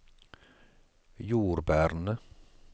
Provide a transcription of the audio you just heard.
jordbærene